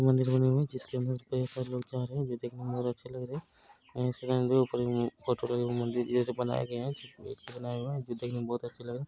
जिसके अंदर से सब लोग जा रहे हैं ये देखने में बहुत अच्छा लग रहा है फोटो लगे हुए मंदिर ये सब बनाए गए हैं गेट भी बनाया हुआ है जो देखने में बहुत अच्छे लग रहे हैं।